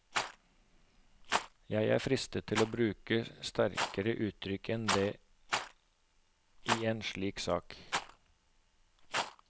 Jeg er fristet til å bruke sterkere uttrykk enn det i en slik sak.